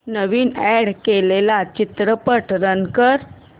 नवीन add केलेला चित्रपट run कर